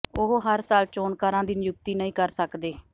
ਉਹ ਹਰ ਸਾਲ ਚੋਣਕਾਰਾਂ ਦੀ ਨਿਯੁਕਤੀ ਨਹੀਂ ਕਰ ਸਕਦੇ